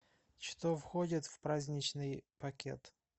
что входит в праздничный пакет